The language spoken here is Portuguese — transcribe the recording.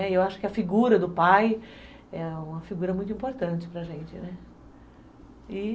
Né, e eu acho que a figura do pai é uma figura muito importante para a gente, né, e